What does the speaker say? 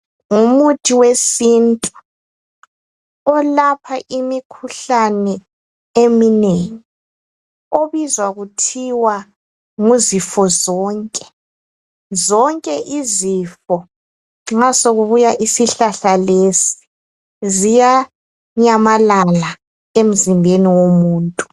Ngumuthi wesintu ilapha imikhuhlane eminengi obizwa kuthiwa nguzifozonke zonke izifo nxasokubuya isihlahla lesi ziyanyamalala emzimbeni womuntu